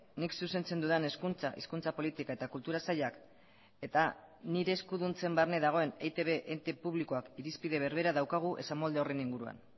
nik zuzentzen dudan hezkuntza hizkuntza politika eta kultura sailak eta nire eskuduntzen barne dagoen eitb ente publikoak irizpide berbera daukagu esamolde horren inguruan